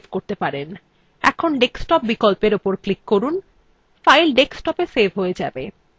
এখন desktop বিকল্পের উপর click করুন file ডেস্কটপে সেভ হয়ে যাবে